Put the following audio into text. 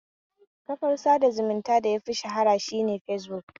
Kafar sada zumuntan da yafi shahara shine fesbuk